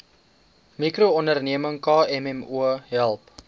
mikroonderneming kmmo help